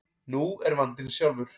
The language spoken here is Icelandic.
Nú er vandinn sjálfur.